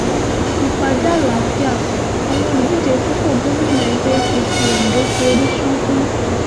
ìpàdé àlàáfíà àwọn olùdíje sípò gómìnà ẹgbẹ́ apc ondo forí ṣánpọ́n